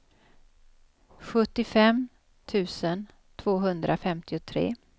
sjuttiofem tusen tvåhundrafemtiotre